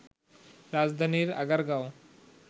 রাজধানীর আগারগাঁও